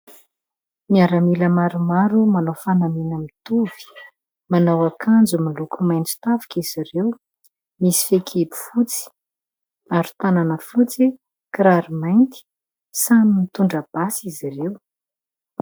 Miaramila maromaro manao fanamiana mitovy, manao akanjo miloko maitso tafika izy ireo, misy fehikibo fotsy aro tanana fotsy, kiraro mainty samy mitondra basy izy ireo.